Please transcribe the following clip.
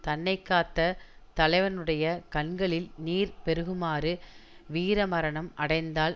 தன்னை காத்த தலைவனுடைய கண்களில் நீர் பெருகுமாறு வீரமரணம் அடைந்தால்